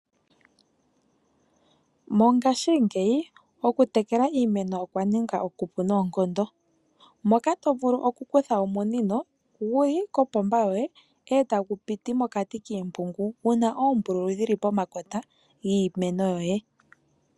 Mongashingeyi okutekela iimeno okwaninga okupu noonkondo moka tovulu okukutha omunino guli kopomba yoye etagu piti mokati kiimpungu una oombululu dhili pomakota giimeno yoye.